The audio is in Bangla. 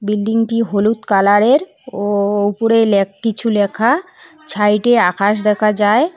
বিল্ডিংটি হলুদ কালারের ও ওপরে লে-কিছু লেখা সাইডে আকাশ দেখা যায়।